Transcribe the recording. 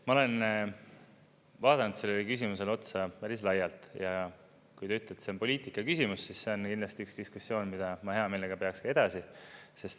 Hea kolleeg, ma olen vaadanud sellele küsimusele otsa päris laialt ja kui te ütlete, et see on poliitika küsimus, siis see on kindlasti üks diskussioon, mida ma hea meelega peaks ka edasi.